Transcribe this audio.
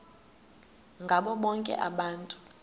ngabo bonke abantu